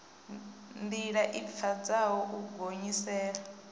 ndila i pfadzaho u gonyisela